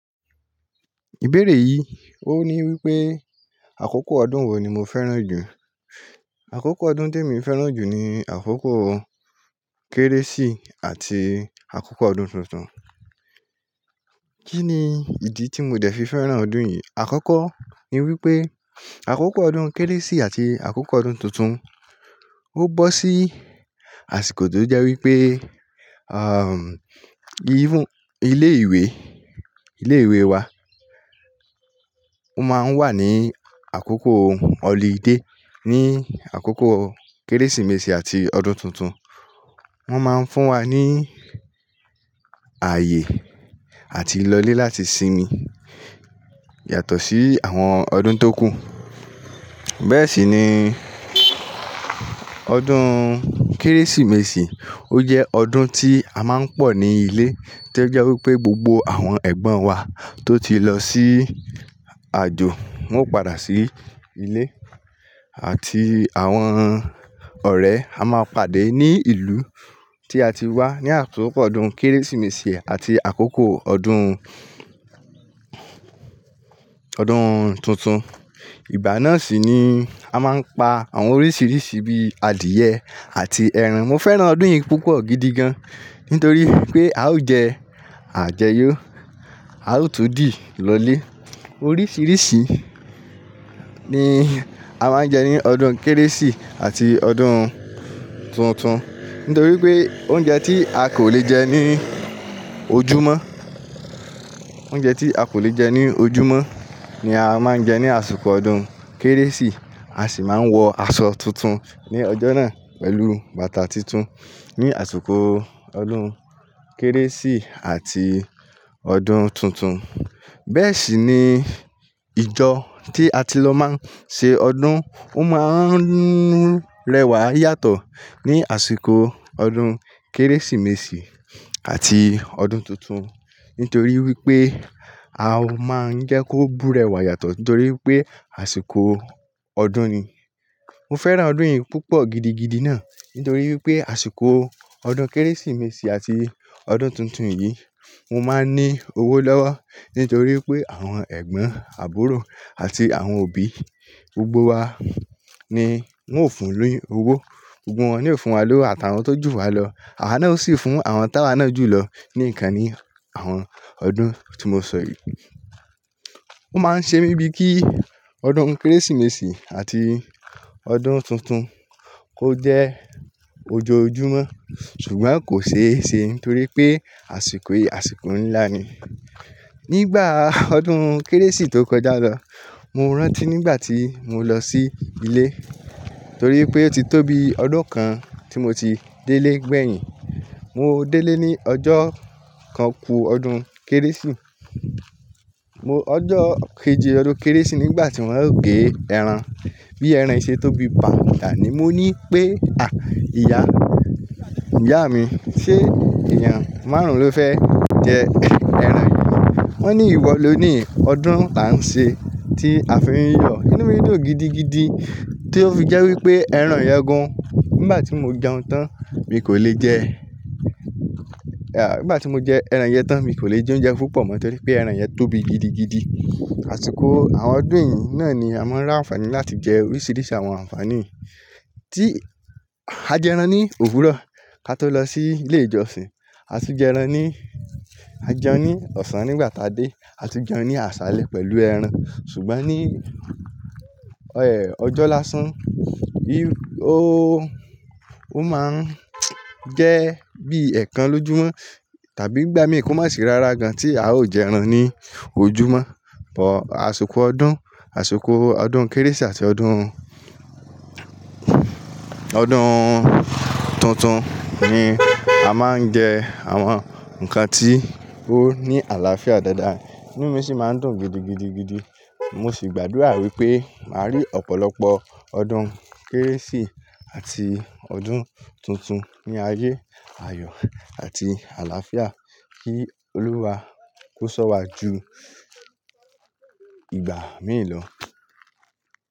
Ìbéèrè yìí ó ní wípé àkókò ọdún wo ni mo fẹ́ràn jù. Àkókò ọdún tèmi fẹ́ràn jù ni àkókò Kérésì àti àkókò ọdún tuntun. Kí ni ìdí tí mo dẹ̀ fi fẹ́ràn ọdún yìí? Àkọ́kọ́ ni wípé àkókò ọdún Kérésì àti àkókò ọdún tuntun ó bọ́ sí àsìkò tó jẹ́ wípé, ìhún- ilé ìwé, ilé ìwé wa ó máa ń wà ní àkókò holiday ní àkókò Kérésìmesì àti ọdún tuntun. Wọ́n máa ń fún wa ní ààyè àti lọlé láti sinmi yàtọ̀ sí àwọn ọdún tó kù. Bẹ́ẹ̀ sì ni ọdún Kérésìmesì ó jẹ́ ọdún tí a máa ń pọ̀ ní ilé tó jẹ́ wípé gbogbo àwọn ẹ̀gbọ́n wa tó ti lọ sí aàjò wọn ó padà sí ilé àti àwọn ọ̀rẹ́ a máa pàdé ní ìlú tí a ti wá ní àkokò ọdún Kérésìmesì àti àkókò ọdún, ọdún tuntun. Ìgbà náà sì ni a máa ń pa àwọn oríṣiríṣi bíi adìyẹ àti ẹran. Mo fẹ́ràn ọdún yìí púpọ̀ gidi gan nítorí pé a ó jẹ, à jẹ yó, a ó tun dì lọlé. Oríṣiríṣi ni a máa ń jẹ ní ọdún Kérésì àti ọdún tuntun nítorí wipé oúnjẹ tí a kò le jẹ ní ojúmọ́, oúnjẹ tí a kò le jẹ ní ojúmọ́ ni a máa ń jẹ ní àsikò ọdún Kérésì. A sì máa ń wọ aṣọ tuntun ní ọjọ́ náà pẹ̀lú bàtà tuntun ní àsikò ọdún Kérésì àti ọdún tuntun. Bẹ́ẹ̀ sì ni ìjọ tí a ti lọ máa ń ṣe ọdún, ó máa ń rẹwà yàtọ̀ ní àsìkò ọdún Kérésìmesì àti ọdún tuntun. Nítorí wípé a máa ń jẹ́ kó búrẹ́wà yàtọ̀ nítorí pé àsìkò ọdún ni. Mo fẹ́ràn ọdún yìí púpọ̀ gidigidi náà nítorí wípé àsìkò ọdún Kérésìmesì àti ọdún tuntun yìí mo máa n ní owó lọ́wọ́ nítorí pé àwọn ẹ̀gbọ́n àbúrò àti àwọn òbí gbogbo wa ni wọ́n ó fún ní owó. Gbogbo wọn ni ó fún wa lówó àtàwọn tó jù wa lọ. Àwọn náà obsì fún àwọn tá wa náà jùlọ ní ǹnkan ní àwọn ọdún tí mo sọ yìí. Ó máa ń ṣe mí bíi kí ọdún Kérésìmesì àti ọdún tuntun kó jẹ́ ojoojúmọ́ ṣùgbọ́n kò ṣe é ṣe nítorí pé àsìkò yìí, àsìkò ńlá ni. Nígbà ọdún Kérésì tó kọjá lọ, mo rántí nígbà tí mo lọ sí ilé torí wipé ó ti tó bii ọdún kan tí mo ti délé gbẹ̀yìn. Mo délé ní ọjọ́ kan ku ọdún Kérésì. Mo-- ọjọ́ kejì ọdún Kérésì nígbà tí wọ́n ó gbé ẹran bí ẹran ṣe tóbi bàǹtà ni mo ní pé, "ìyá, ìyá mi, ṣe èèyàn márùn-ún ló fẹ́ jẹ ẹran yìí ni?" Wọ́n ní, "ìwọ ló ni ọdún la ń ṣe tí a fi ń yọ." Ìnú mi dùn gidigidi tí ó fi jẹ́ wípé ẹran yẹn gan. Nígbà tí mo jẹun tán mi kò lè jẹ, nígbà tí mo jẹ ẹran yẹn tán mi kò lè jẹ oúnjẹ púpọ̀ mọ́ tọ́rí pé ẹran yẹn tóbi gidigidi. Àsìkò àwọn ọdún yìí náà ni a máa ń r'àǹfààní láti jẹ oríṣiríṣi àwọn àǹfààní yii tí a jẹ ẹran ní òwúrọ̀ ká tó lọ sí ilé ìjọsìn. A tu jẹ ẹran ní, a jẹun ní ọ̀sán nígbà táa dé, a tu jẹun ní àsálé pẹ̀lú ẹran. Ṣùgbọ́n ní, ọjọ́ lásán, bí ó, ó máa ń jẹ́ bíi ẹ̀ẹ̀kan lójúmọ́ tàbí ngbà míi kó má sì rárá gan tí a ó jẹ ẹran ní ojúmọ́. Bọ àsikò ọdún, àsikò ọdún Kérésì àti ọdún, ọdún tuntun ni a máa ń jẹ àwọn ǹkan tí ó ní àlàáfíà dáadáa. Ìnú mi sì máa ń dùn gidigidigidi. Mo sì gbàdúrà wípé màá rí ọ̀pọ̀lọpọ̀ ọdún Kérésì àti ọdún tuntun ní ayé, àyọ̀ àti àlàáfíà. Kí Olúwa kó sọ́wa jù ìgbà mii ló.